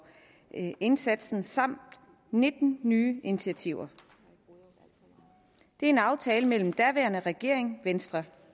indsatsen samt nitten nye initiativer det er en aftale mellem den daværende regering bestående venstre